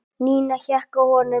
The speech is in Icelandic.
Nína hékk á honum.